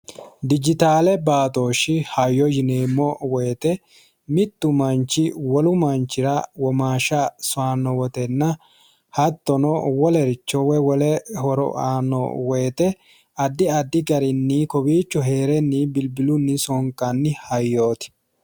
Dijitaalete batooshi hayyo yineemo woyte mittu wolu manichira womaasha soyanno wotenna hattono wolericho woy wole horo aanno woyte Addi addi garinni kowiicho heerenni bilibbiluni sonikkanni hayyooti